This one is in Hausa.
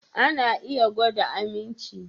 Ana iya gwada aminci